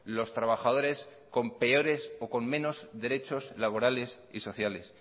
los trabajadores con peores o con menos derechos laborales y sociales